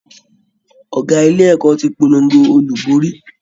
Ọ̀gá ilé ẹ̀kọ́ ti polongo olùborí